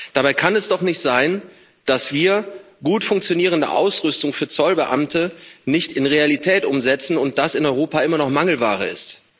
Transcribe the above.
Dabei kann es doch nicht sein, dass wir gut funktionierende Ausrüstung für Zollbeamte nicht in die Realität umsetzen und das in Europa immer noch Mangelware ist.